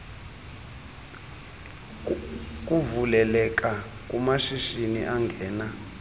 kuvuleleka kumashishini angena